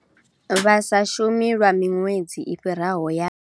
Vha sa shumi lwa miṅwedzi i fhiraho ya.